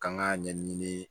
K'an k'a ɲɛɲini